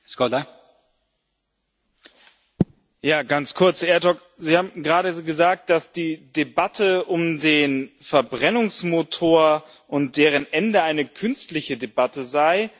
Herr Ertug, Sie haben gerade gesagt, dass die Debatte um den Verbrennungsmotor und dessen Ende eine künstliche Debatte sei.